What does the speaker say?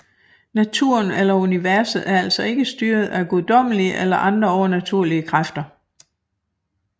Naturen eller universet er altså ikke styret af guddommelige eller andre overnaturlige kræfter